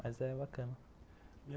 Mas é bacana.